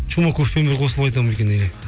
чумаковпен бір қосылып айтамын ба екен